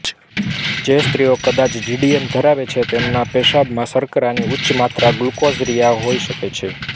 જે સ્ત્રીઓ કદાચ જીડીએમ ધરાવે છે તેમનાં પેશાબમાં શર્કરાની ઉચ્ચ માત્રા ગ્લુકોસરિઆ હોઈ શકે છે